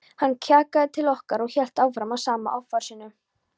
Hann kjagaði til okkar og hélt áfram með sama offorsinu.